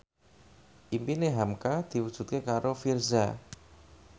impine hamka diwujudke karo Virzha